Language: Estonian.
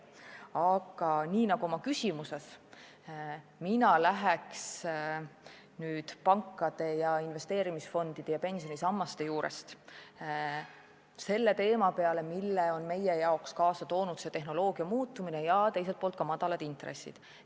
Aga nii nagu oma küsimuses, lähen ka nüüd pankade, investeerimisfondide ja pensionisammaste teema juurest selle teema juurde, mille on meie jaoks kaasa toonud tehnoloogia muutumine ja teiselt poolt madalad intressid.